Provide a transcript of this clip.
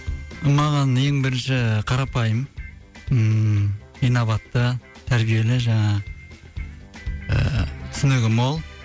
маған ең бірінші қарапайым ммм инабатты тәрбиелі жаңағы ыыы түсінігі мол